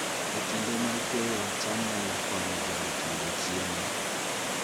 E kinde mag keyo, cham nyalo konyo joot yudo chiemo